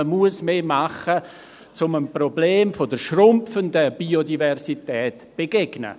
Man muss mehr tun, um dem Problem der schrumpfenden Biodiversität zu begegnen.